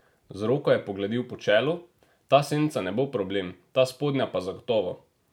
Z roko je pogladil po čelu: "Ta senca ne bo problem, ta spodnja pa zagotovo.